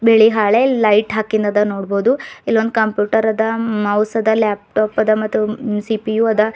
ಇದ್ರಲ್ಲಿ ಹಳೆ ಲೈಟ್ ಹಾಕಿಂದದ ನೋಡಬೋದು ಇಲ್ ಒಂದ್ ಕಂಪ್ಯೂಟರ್ ಅದ ಮೌಸ್ ಅದ ಲ್ಯಾಪ್ಟಾಪ್ ಅದ ಮತ್ತು ಸಿ_ಪಿ_ಯು ಅದ.